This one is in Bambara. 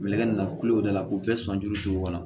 Nɛgɛ na kule o da la k'o bɛɛ sɔnjuw kɔnɔ